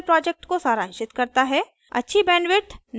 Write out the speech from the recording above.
यह spoken tutorial project को सारांशित करता है